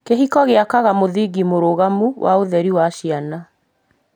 Kĩhiko gĩakaga mũthingi mũrũgamu wa ũreri wa ciana.